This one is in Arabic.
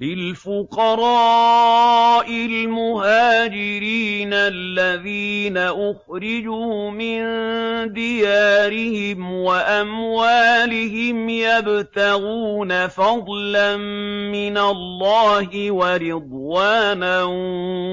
لِلْفُقَرَاءِ الْمُهَاجِرِينَ الَّذِينَ أُخْرِجُوا مِن دِيَارِهِمْ وَأَمْوَالِهِمْ يَبْتَغُونَ فَضْلًا مِّنَ اللَّهِ وَرِضْوَانًا